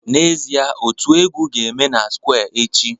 N'ezie, otu egwu ga-eme na square echi